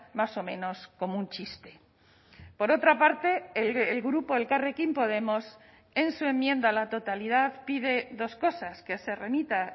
más o menos como un chiste por otra parte el grupo elkarrekin podemos en su enmienda a la totalidad pide dos cosas que se remita